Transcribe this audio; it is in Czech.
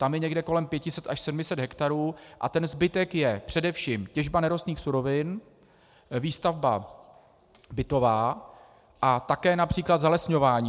Tam je někde kolem 500 až 700 hektarů a ten zbytek je především těžba nerostných surovin, výstavba bytová a také například zalesňování.